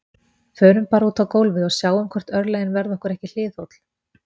Förum bara út á gólfið og sjáum hvort örlögin verði okkur ekki hliðholl